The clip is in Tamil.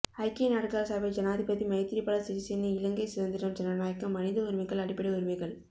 ஐக்கிய நாடுகள் சபை ஜனாதிபதி மைத்திரிபால சிறிசேன இலங்கை சுதந்திரம் ஜனநாயகம் மனித உரிமைகள் அடிப்படை உரிமைகள்